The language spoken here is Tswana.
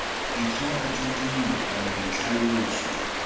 ditlhogo tsa dilo kana ditlhaloso